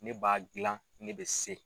Ne b'a gila ne bɛ se.